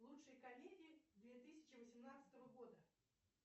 лучшие комедии две тысячи восемнадцатого года